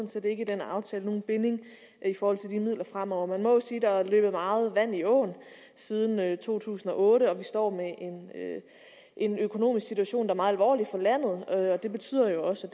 set ikke i den aftale nogen binding i forhold til de midler fremover man må sige at der er løbet meget vand i åen siden to tusind og otte og vi står i en økonomisk situation der er meget alvorlig for landet det betyder jo også